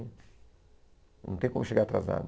Não tem como chegar atrasado.